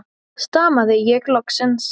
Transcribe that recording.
stamaði ég loksins.